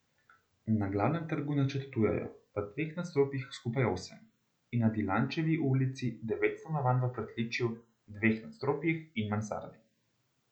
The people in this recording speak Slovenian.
Na Glavnem trgu načrtujejo v dveh nadstropjih skupaj osem in na Dilančevi ulici devet stanovanj v pritličju, dveh nadstropjih in mansardi.